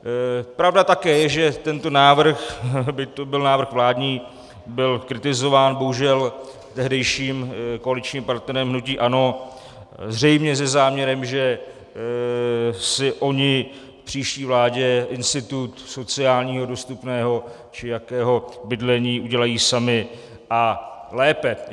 Pravda také je, že tento návrh, byť to byl návrh vládní, byl kritizován bohužel tehdejším koaličním partnerem, hnutím ANO, zřejmě se záměrem, že si oni v příští vládě institut sociálního dostupného či jakého bydlení udělají sami a lépe.